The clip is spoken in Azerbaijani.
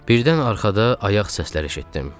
Birdən arxada ayaq səslər eşitdim.